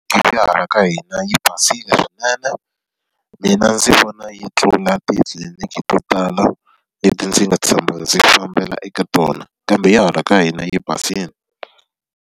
Tliliniki ya hala ka hina yi basile swinene. Mina ndzi vona yi tlula titliliniki to tala leti ndzi nga tshama ndzi fambela eka tona. Kambe ya hala ka hina yi basile.